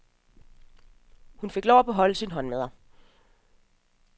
Hun fik lov at beholde sine håndmadder.